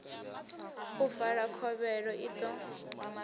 u vala khovhelo i ḓo